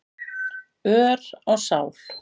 ör á sál.